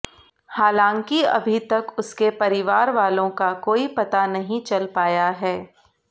हालांकि अभी तक उसके परिवार वालों का कोई पता नहीं चल पाया है